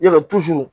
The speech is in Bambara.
Ya kɛ